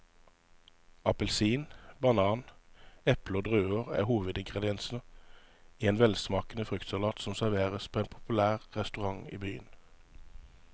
Appelsin, banan, eple og druer er hovedingredienser i en velsmakende fruktsalat som serveres på en populær restaurant i byen.